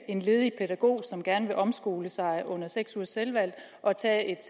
en ledig pædagog som gerne vil omskole sig under seks ugers selvvalgt og tage et